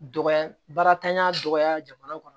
Dɔgɔ baaratanya dɔgɔya jamana kɔnɔ